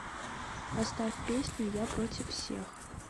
поставь песню я против всех